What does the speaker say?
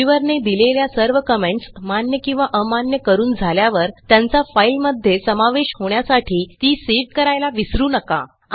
reviewer ने दिलेल्या सर्व कमेंट्स मान्य किंवा अमान्य करून झाल्यावर त्यांचा फाईलमध्ये समावेश होण्यासाठी ती सेव्ह करायला विसरू नका